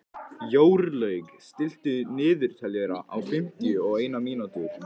Jórlaug, stilltu niðurteljara á fimmtíu og eina mínútur.